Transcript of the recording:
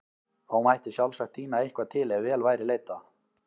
Þó mætti sjálfsagt tína eitthvað til ef vel væri leitað.